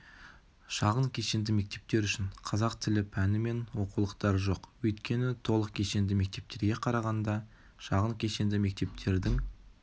шағын кешенді мектептер үшін қазақ тілі пәні мен оқулықтары жоқ өйткені толық кешенді мектептерге қарағанда шағын кешенді мектептердің